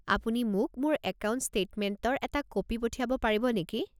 আপুনি মোক মোৰ একাউণ্ট ষ্টেটমেণ্টৰ এটা কপি পঠিয়াব পাৰিব নেকি?